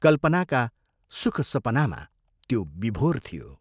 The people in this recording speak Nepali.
कल्पनाका सुखसपनामा त्यो विभोर थियो।